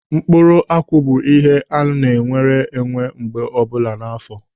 Mkpụrụ akwụ bụ ihe a na-ewere mgbe ọbụla n'áfọ.